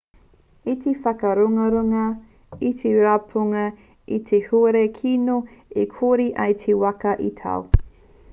i whakararurarungia te rapunga e te huarere kino i kore ai te waka i tau